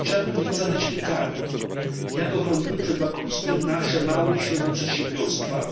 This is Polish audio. Chciałbym więc zadać pytanie jak ochronimy przed bankructwem nasze małe i średnie przedsiębiorstwa,